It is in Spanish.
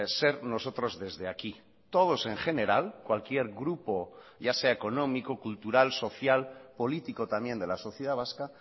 ser nosotros desde aquí todos engeneral cualquier grupo ya sea económico cultural social político también de la sociedad vasca